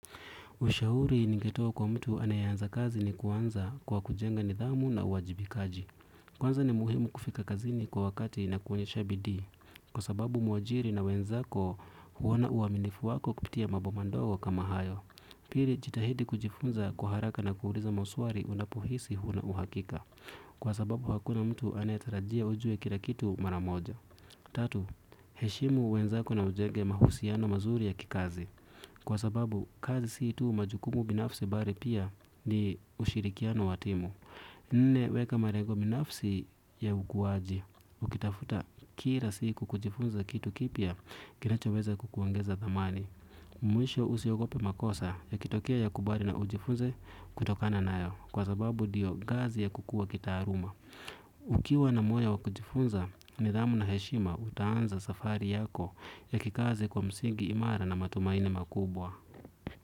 Ushauri ningetoa kwa mtu anayeanza kazi ni kuanza kwa kujenga nidhamu na uwajibikaji. Kwanza ni muhimu kufika kazini kwa wakati na kuonyesha bidii. Kwa sababu mwajiri na wenzako huona uaminifu wako kupitia mambo mandogo kama hayo. Pili jitahidi kujifunza kwa haraka na kuuliza maswali unapohisi huna uhakika. Kwa sababu hakuna mtu anayetarajia ujue kila kitu mara moja. Tatu, heshimu wenzako na ujenge mahusiano mazuri ya kikazi. Kwa sababu, kazi si tu majukumu binafsi bali pia ni ushirikiano wa timu. Nne, weka malengo binafsi ya ukuwaji. Ukitafuta kila siku kujifunza kitu kipya, kinachoweza kukuongeza dhamani. Mwisho usiogope makosa, yakitokea yakubali na ujifunze kutokana nayo. Kwa sababu, ndio ngazi ya kukua kitaaluma. Ukiwa na moyo wa kujifunza, nidhamu na heshima utaanza safari yako ya kikazi kwa msingi imara na matumaini makubwa.